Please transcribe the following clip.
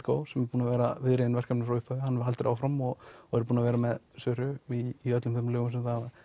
Go sem er búinn að vera viðriðinn verkefnið frá upphafi hann heldur áfram og og er búinn að vera með Söru í öllum þeim lögum sem þau hafa